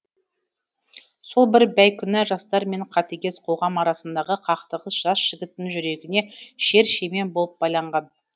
сол бір бейкүнә жастар мен қатыгез қоғам арасындағы қақтығыс жас жігіттің жүрегіне шер шемен болып байланған